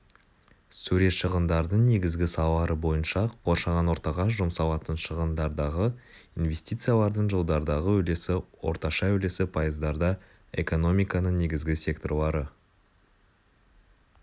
сурет шығындардың негізгі салалары бойынша қоршаған ортаға жұмсалатын шығындардағы инвестициялардың жылдардағы үлесі орташа үлесі пайыздарда экономиканың негізгі секторлары